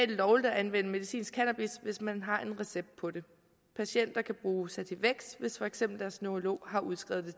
det lovligt at anvende medicinsk cannabis hvis man har en recept på det patienter kan bruge sativex hvis for eksempel deres neurolog har udskrevet